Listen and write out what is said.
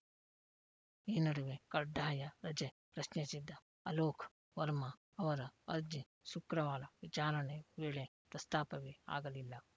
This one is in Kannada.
ಈ ನಡುವೆ ಕಡ್ಡಾಯ ರಜೆ ಪ್ರಶ್ನಿಸಿದ್ದ ಅಲೋಕ್‌ ವರ್ಮಾ ಅವರ ಅರ್ಜಿ ಶುಕ್ರವಾರ ವಿಚಾರಣೆ ವೇಳೆ ಪ್ರಸ್ತಾಪವೇ ಆಗಲಿಲ್ಲ